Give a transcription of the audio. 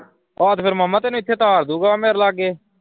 ਆਹ ਤੇ ਫਿਰ ਮਾਮਾ ਤੈਨੂੰ ਇਥੇ ਤਾਰ ਦੂੰਗਾ ਮੇਰੇ ਲਾਗੇ।